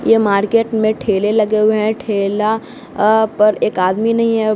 ये मार्केट में ठेले लगे हुए हैं ठेला अह पर एक आदमी नहीं है।